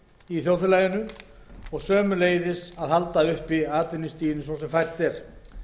í þjóðfélaginu og sömuleiðis að halda uppi atvinnustiginu eins og hægt er